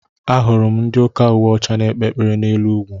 Ahụrụ m ndị ụka uwe ọcha n'ekpe ekpere n'elu ugwu.